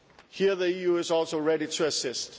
Here the EU is also ready to assist.